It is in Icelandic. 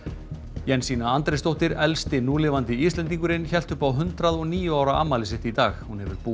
Jensína Andrésdóttir elsti núlifandi Íslendingurinn hélt upp á hundrað og níu ára afmæli sitt í dag hún hefur búið